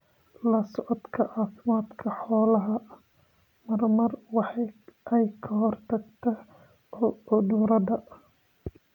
La socodka caafimaadka xoolaha mar mar waxa ay ka hortagtaa cudurada.